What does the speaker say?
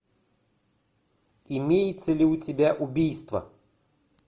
имеется ли у тебя убийство